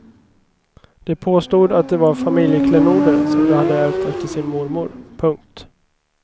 De påstod att det var familjeklenoder som de hade ärvt efter sin mormor. punkt